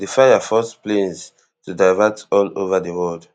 di fire force planes to divert all over di world